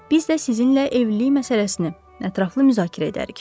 Biz də sizinlə evlilik məsələsini ətraflı müzakirə edərik.